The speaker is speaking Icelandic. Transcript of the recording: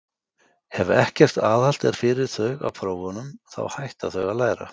Ef ekkert aðhald er fyrir þau af prófunum, þá hætta þau að læra.